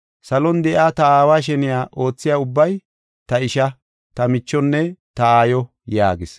Salon de7iya ta Aawa sheniya oothiya ubbay ta isha, ta michonne ta aayo” yaagis.